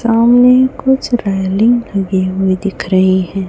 सामने कुछ लगी हुई दिख रही है।